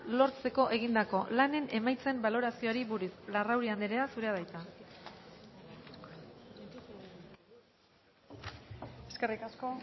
lortzeko egindako lanen emaitzen baloraziari buruz larrauri andrea zurea da hitza eskerrik asko